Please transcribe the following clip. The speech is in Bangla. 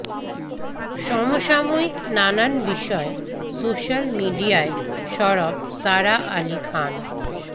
সমসাময়িক নানান বিষয়ে সোশ্যাল মিডিয়ায় সরব সারা আলী খান